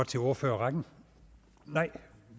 til ordførerrækken nej